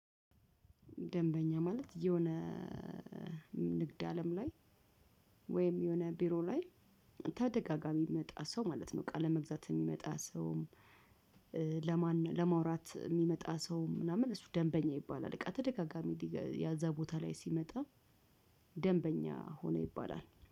ደንበኛ ማለት? የሆነ ንግድ አለም ላይ ወይም የሆነ ቢሮ ላይ ተደጋጋሚ የሚመጣ ሰው ማለት ነው። እቃ ለመግዛት የሚመጣ ሰውም ለማን ለማውራት የሚመጣ ሰው ምናምን እሱ ደንበኛ ይባላል። በቃ ተደጋጋሚ ያ እዛ ቦታ ላይ ሲመጣ ደንበኛ ሆነ ይባላል።